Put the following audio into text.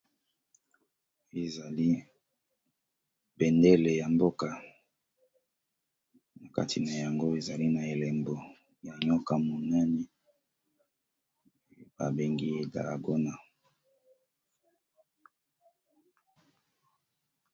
Ezali bendele ya mboka, na kati na yango ezali na elembo ya nioka monene, oyo babengi dragona .